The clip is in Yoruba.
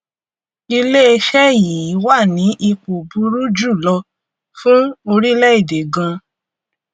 iléeṣẹ yìí wà ní ipò burú jù lọ fún orílẹèdè gan